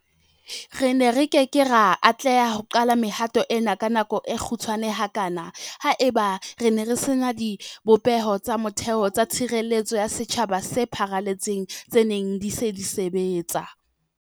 Re ne re ke ke ra atleha ho qala mehato ena ka nako e kgutshwane hakana haeba re ne re se na dibopeho tsa motheo tsa tshireletseho ya setjhaba tse pharaletseng tse neng di se di sebetsa.